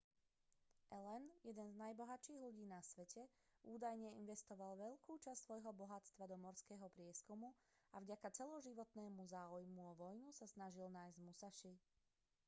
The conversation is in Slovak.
allen jeden z najbohatších ľudí na svete údajne investoval veľkú časť svojho bohatstva do morského prieskumu a vďaka celoživotného záujmu o vojnu sa snažil nájsť musaši